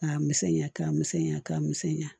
K'a misɛnya ka misɛnya ka misɛnya